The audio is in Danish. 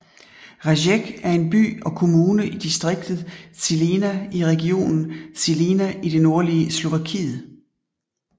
Rajec er en by og kommune i distriktet Žilina i regionen Žilina i det nordlige Slovakiet